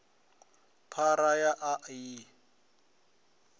phara ya a a i